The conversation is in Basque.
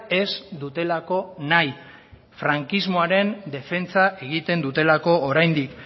ez dutelako nahi frankismoaren defentsa egiten dutelako oraindik